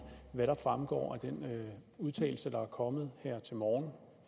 hvad der fremgår af den udtalelse der er kommet her til morgen